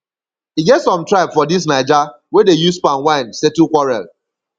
e get some tribe for dis naija wey dey use palm wine settle quarel